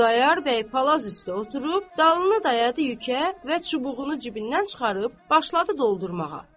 Xudayar bəy palaz üstə oturub, dalını dayadı yükə və çubuğunu cibindən çıxarıb, başladı doldurmağa.